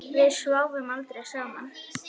Við sváfum aldrei saman.